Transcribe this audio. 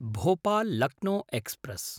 Bhopal-Lucknow express